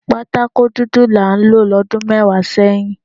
Patakó dúdú là ń lò lọ́dún mẹ́wàá sẹ́yìn